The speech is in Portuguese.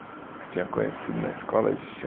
Que tenha conhecido na escola de